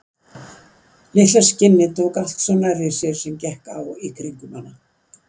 Litla skinnið tók allt svo nærri sér sem gekk á í kringum hana.